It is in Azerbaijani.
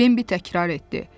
Bembi təkrar etdi.